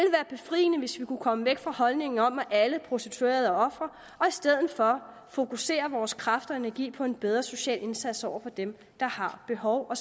befriende hvis vi kunne komme væk fra holdningen om at alle prostituerede er ofre og i stedet for fokusere vores kræfter og energi på en bedre social indsats over for dem der har behov